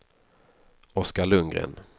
Oscar Lundgren